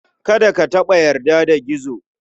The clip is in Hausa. Kada ka taɓa yarda da Gizo.